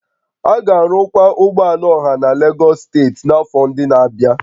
A ga-arụkwa ụgbọ ala ọha na Lagos steeti n'afọ ndị na-abịa